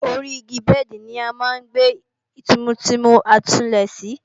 Ori igi bẹ́ẹ̀dì ni a máa ń gbé tìmùtìmù àsùnlé sí